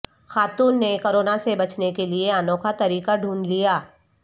خاتون نے کورونا سے بچنے کیلئے انوکھا طریقہ ڈھونڈ لیا